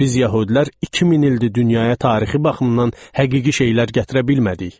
Biz yəhudilər 2000 ildir dünyaya tarixi baxımdan həqiqi şeylər gətirə bilmədik.